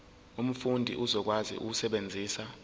umfundi uzokwazi ukusebenzisa